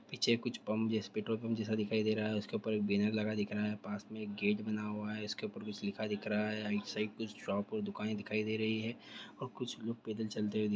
Market का photo देख रहा है जिसके अंदर बोहोत सारे गाछी पीछे क्च पंप जैसे पेट्रोल पंप जैसा दिखाई दी रहा है उस क ऊपर एक बैनर दिखाई दी रहा है पास में एक गेट बना हुआ है उस क ऊपर कुछ लिखा दिख रहा है एक साइड पर शॉप और दुकानें दिखाई दी राइ हैं और कुछ लोग पैदल चलती व्य दिखाई दी रही हैं।